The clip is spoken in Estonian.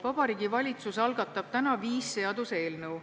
Vabariigi Valitsus algatab täna viis seaduseelnõu.